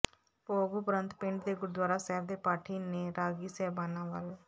ਭੋਗ ਉਪਰੰਤ ਪਿੰਡ ਦੇ ਗੁਰਦੁਆਰਾ ਸਾਹਿਬ ਦੇ ਪਾਠੀ ਤੇ ਰਾਗੀ ਸਾਹਿਬਾਨਾਂ ਵੱਲ